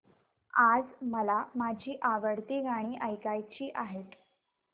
आज मला माझी आवडती गाणी ऐकायची आहेत